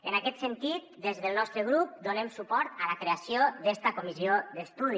en aquest sentit des del nostre grup donem suport a la creació d’esta comissió d’estudi